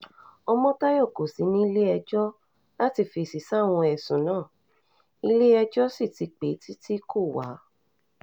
ọmọ̩tayọ kò sí nílé̩-ẹjọ́ láti fèsì sáwọn ẹ̀sùn náà ilé-ẹjọ́ sì ti pè é títí kó wá